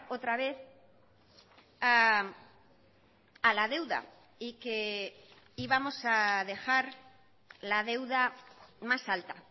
otra vez a la deuda y que íbamos a dejar la deuda más alta